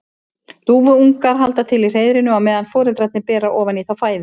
Dúfuungar halda til í hreiðrinu á meðan foreldrarnir bera ofan í þá fæðu.